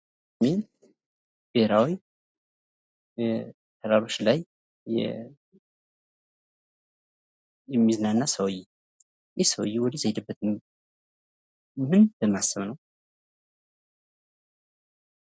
ብሔራዊ ተራራዎች ላይ የሚዝናና ሰውዬ ይህ ሰውዬ ወደዛ የሄደበት ምን በማሰብ ነው?